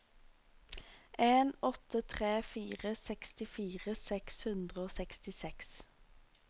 en åtte tre fire sekstifire seks hundre og sekstiseks